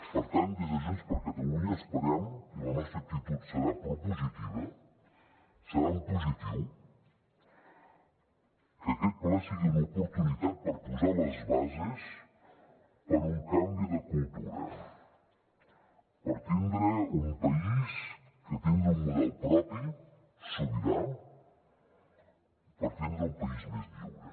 per tant des de junts per catalunya esperem i la nostra actitud serà propositiva serà en positiu que aquest ple sigui una oportunitat per posar les bases per a un canvi de cultura per tindre un país que tingui un model propi sobirà per tindre un país més lliure